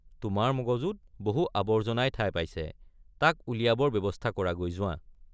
তোমাৰ মগজুত বহু আবৰ্জনাই ঠাই পাইছে তাক উলিয়াবৰ ব্যৱস্থা কৰাগৈ যোৱা।